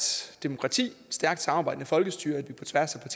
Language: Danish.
demokrati et stærkt samarbejdende folkestyre at vi på tværs af